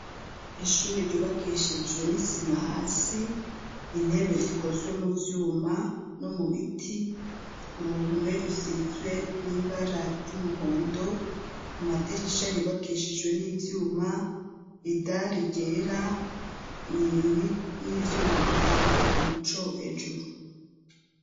Ishure ryubakishijwe n'isima hasi, intebe zikozwe mu vyuma no mu biti, uruhume rusizwe n'ibara ry'umuhondo amadirisha yubakishijwe n'ivyuma idari ryera, n'ivyuma bitanga umuco hejuru.